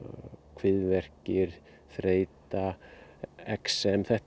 kviðverkir þreyta exem þetta